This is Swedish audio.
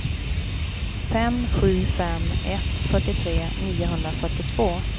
fem sju fem ett fyrtiotre niohundrafyrtiotvå